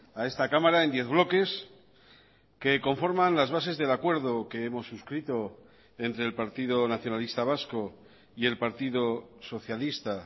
a esta cámara en diez bloques que conforman las bases del acuerdo que hemos suscrito entre el partido nacionalista vasco y el partido socialista